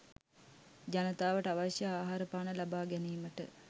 ජනතාවට අවශ්‍ය ආහාරපාන ලබා ගැනීමට